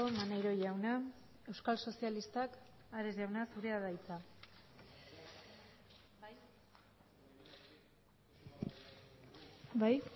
maneiro jauna euskal sozialistak ares jauna zurea da hitza bai